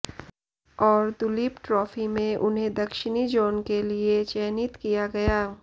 और दुलीप ट्रोफी में उन्हें दक्षिणी जोन के लिए चयनित किया गया